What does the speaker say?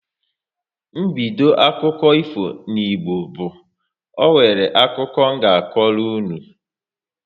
Mbido akụkọ ifo n'Igbo bu " Ọ nwere akụkọ m nga akọrọ unu"